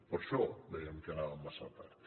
per això dèiem que anàvem massa tard